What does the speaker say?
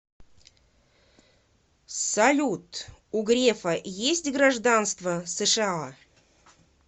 салют у грефа есть гражданство сша